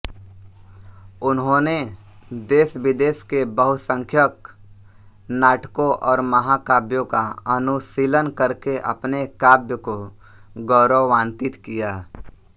उन्होंने देशविदेश के बहुसंख्यक नाटकों और महाकाव्यों का अनुशीलन करके अपने काव्य को गौरवान्वित किया